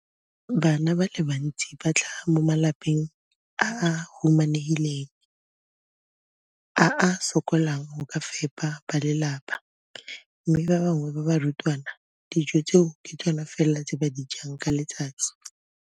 Bana ba le bantsi ba tlhaga mo malapeng a a humanegileng a a sokolang go ka fepa ba lelapa mme ba bangwe ba barutwana, dijo tseo ke tsona fela tse ba di jang ka letsatsi.